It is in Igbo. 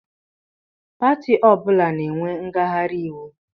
Pati ọbụla na-enwe ngaghari íwú.